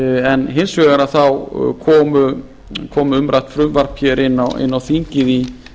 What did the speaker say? en hins vegar þá kom umrætt frumvarp hér inn á þingið í